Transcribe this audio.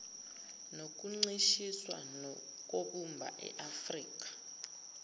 nokuncishiswa kobumba iafrika